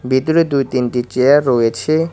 ভিতরে দুই তিনটি চেয়ার রয়েছে।